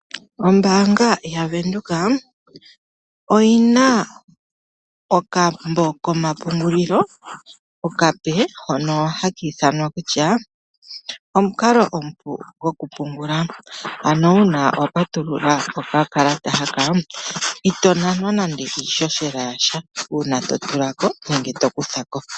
Ombaanga yaVenduka oyi na okambo komapungulilo okape hono haki ithanwa kutya omukalo omupu gwokupungula. Ano uuna wapatulula okakalata haka itonanwa nando iihohela yasha uuna totulako nenge tokutha ko.